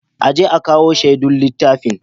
A je a kawo shaidun laifin.